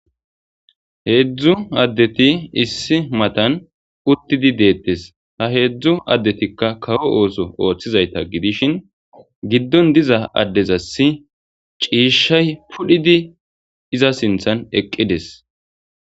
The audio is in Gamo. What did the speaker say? Hezdzdu adeti issi botan utid detes ha hezdzdu adeti kawo oththo othizayta gidishshin isineza sinththan pudhoy des